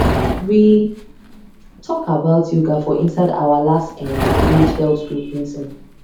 we talk about yoga for inside our last[um]village health group meeting